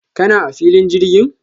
kana a filin jirgin?